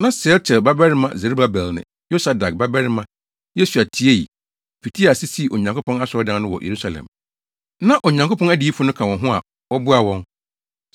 Na Sealtiel babarima Serubabel ne Yosadak babarima Yesua tiei, fitii ase sii Onyankopɔn asɔredan no wɔ Yerusalem. Na Onyankopɔn adiyifo no ka wɔn ho a wɔboaa wɔn.